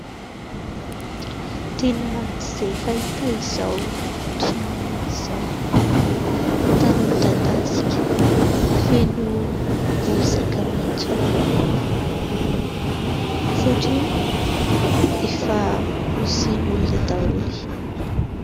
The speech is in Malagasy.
Tena tsy dia fahita izao toerana izao, tany midadasika feno bozaka maitso maniry ; satria efa hosen'ny olona daholo.